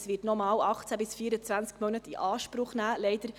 Das wird noch einmal 18–24 Monate in Anspruch nehmen.